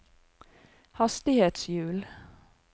hastighetshjul